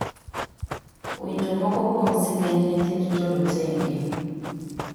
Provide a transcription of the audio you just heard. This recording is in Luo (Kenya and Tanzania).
Winjo moko kuom sigend nyithind jorotenge.